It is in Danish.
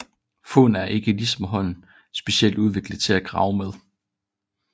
Foden er ikke ligesom hånden specielt udviklet til at grave med